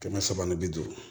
Kɛmɛ saba ni bi duuru